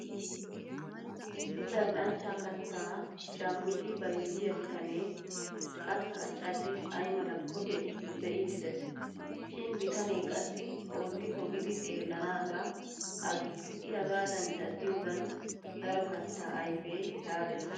Issi zal'anchcha kattaa shammidi bayzziyaa bitanee kattaa caddis ay malakko be'iiddi des. Shin bitanee qassi ootti pogidi xeellanaagaa aggis i hagaadan caddiyoogan daro kattaa ayfee laalettes.